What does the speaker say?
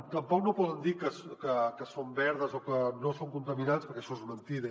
tampoc no poden dir que són verdes o que no són contaminants perquè això és mentida